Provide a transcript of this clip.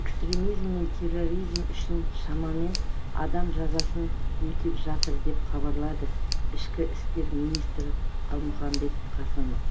экстремизм мен терроризм үшін шамамен адам жазасын өтеп жатыр деп хабарлады ішкі істер министріқалмұханбет қасымов